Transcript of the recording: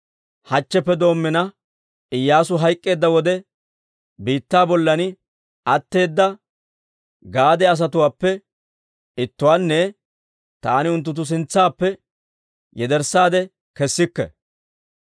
hachcheppe doommina, Iyyaasu hayk'k'eedda wode biittaa bollan atteeda gade asatuwaappe ittuwaanne taani unttunttu sintsaappe yederssaade kessikke.